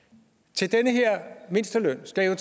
til den her mindsteløn skal jo